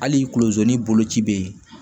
Hali kulon ni boloci bɛ yen